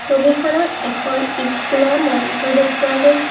ছবিখনত এখন স্কুলৰ মঞ্চ দেখুওৱা গৈছে।